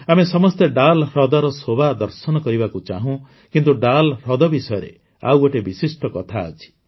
ଆମେ ସମସ୍ତେ ଡାଲ୍ ହ୍ରଦର ଶୋଭା ଦର୍ଶନ କରିବାକୁ ଚାହୁଁ କିନ୍ତୁ ଡାଲ୍ ହ୍ରଦ ବିଷୟରେ ଆଉ ଗୋଟେ ବିଶିଷ୍ଟ କଥା ଅଛି